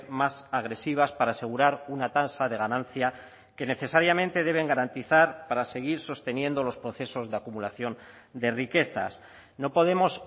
más agresivas para asegurar una tasa de ganancia que necesariamente deben garantizar para seguir sosteniendo los procesos de acumulación de riquezas no podemos